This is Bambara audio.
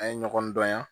An ye ɲɔgɔn dɔn yan